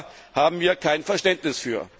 Dafür haben wir kein Verständnis.